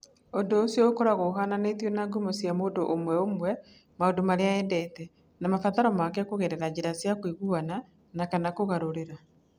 Ũndũ ũcio ũkoragwo ũhaananĩtio na ngumo cia mũndũ ũmwe ũmwe, maũndũ marĩa endete, na mabataro make kũgerera njĩra cia kũiguana na/kana kũgarũrĩra.